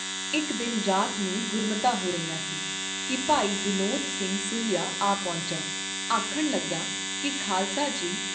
ਇਕ ਦਿਨ ਰਾਤ ਨੂੰ ਗੁਰਮਤਾ ਹੋ ਰਿਹਾ ਸੀ ਕੀ ਭਾਈ ਬਿਨੋਦ ਸਿੰਘ ਸੂਹੀਆ ਆ ਪਹੁੰਚਾ, ਆਖਣ ਲੱਗਾ ਕੀ ਖਾਲਸਾ ਜੀ!